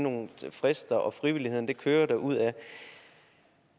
nogle frister og frivilligheden det kører derudad